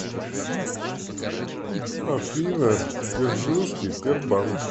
афина дзержинский тербанк